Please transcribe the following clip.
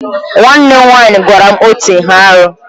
Nwanne m nwaanyị gwara m otu ihe arụ.